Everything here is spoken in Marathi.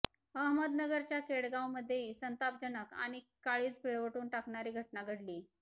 अहमदनगरच्या केडगांवमध्येही संतापजनक आणि काळीज पिळवटून टाकणारी घटना घडलीय